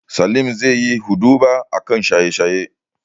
Salim zaiyi huɗuba a kan shanye-shaye.